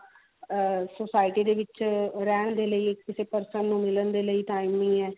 ah society ਦੇ ਵਿੱਚ ਰਹਿਣ ਦੇ ਲਈ ਕਿਸੇ person ਨੂੰ ਮਿਲਣ ਦੇ ਲਈ time ਨਹੀ ਹੈ